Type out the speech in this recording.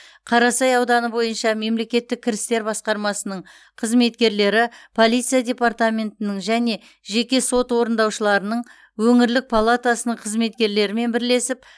қарасай ауданы бойынша мемлекеттік кірістер басқармасының қызметкерлері полиция департаментінің және жеке сот орындаушыларының өңірлік палатасының қызметкерлерімен бірлесіп